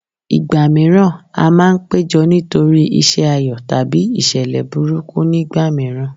Ìgbà mìíràn a máa ń péjọ nítorí iṣẹ́ ayọ̀ tàbí ìṣẹ̀lẹ̀ burúkú nígbà mìíràn